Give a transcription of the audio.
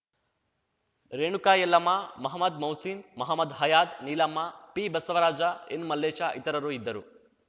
ರೇಣುಕಾ ಯಲ್ಲಮ್ಮಮಹಮ್ಮದ್‌ ಮೌಸಿ ನ್‌ ಮಹಮ್ಮದ್‌ ಹಯಾದ್‌ ನೀಲಮ್ಮ ಪಿಬಸವರಾಜ ಎನ್‌ಮಲ್ಲೇಶ ಇತರರು ಇದ್ದರು